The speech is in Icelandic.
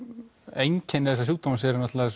einkenni þessa sjúkdóms eru náttúrulega